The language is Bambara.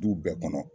Du bɛɛ kɔnɔ